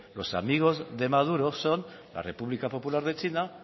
los amigos de maduro son la república popular de china